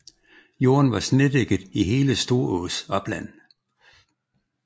Jorden var snedækket i hele Storås opland